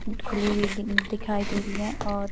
खुली हुई दिखाई दे रही है और --